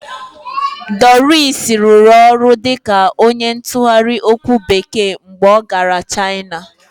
Doris rụrụ ọrụ dịka onye ntụgharị okwu Bekee mgbe ọ gara China